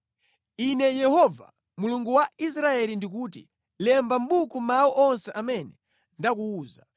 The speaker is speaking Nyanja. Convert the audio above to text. “Ine Yehova, Mulungu wa Israeli ndikuti, ‘Lemba mʼbuku mawu onse amene ndakuwuza.